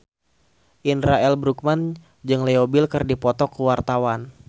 Indra L. Bruggman jeung Leo Bill keur dipoto ku wartawan